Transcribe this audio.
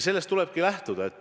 Sellest tulebki lähtuda.